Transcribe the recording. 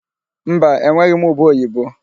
Mba, enweghị m ube oyibo.